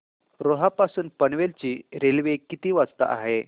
रोहा पासून पनवेल ची रेल्वे किती वाजता आहे